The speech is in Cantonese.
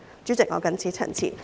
主席，我謹此陳辭。